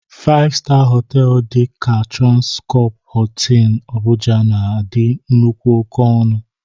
Faịv-staa họtelụ dị ka Transkọpụ Hịịtịn Abụja na-adị nnukwu oke ọnụ.